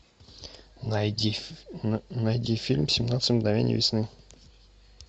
найди фильм семнадцать мгновений весны